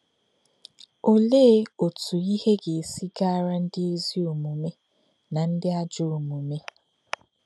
Olè̄ ọ̀tụ́ ìhè̄ gā̄-èsí gà̄rà̄ ndí̄ ézì ọ̀mùmè̄ nā̄ ndí̄ àjọ̄ ọ̀mùmè̄?